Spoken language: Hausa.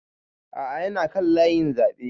A'a ya na kan layin zaɓe